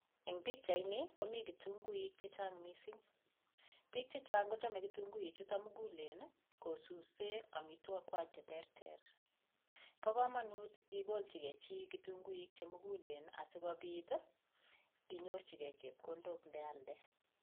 Eng pichaini komi kitunguik che chang mising. Biik che chang kochamei kitunguichuto mugulen ii kosuse amitwogik kwai cheterter. Bo kamanut igolchige chi kitunguik che mugulen asi kopit ii inyorchige chepkondok ndealde.